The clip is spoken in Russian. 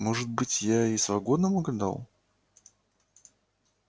может быть я и с вагоном угадал